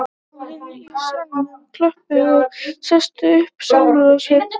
Áheyrendur í salnum klöppuðu og settu upp samúðarsvip